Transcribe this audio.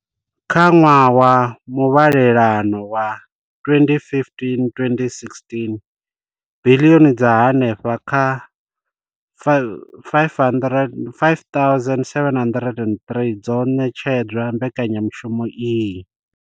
Kha ṅwaha wa muvhalelano wa 2015,16 biḽioni dza henefha kha R5 703 dzo ṋetshedzwa mbekanyamushumo iyi.